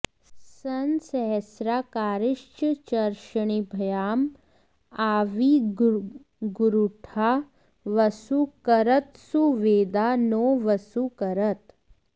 सं स॒हस्रा॒ कारि॑षच्चर्ष॒णिभ्य॒ आँ आ॒विर्गू॒ळ्हा वसू॑ करत्सु॒वेदा॑ नो॒ वसू॑ करत्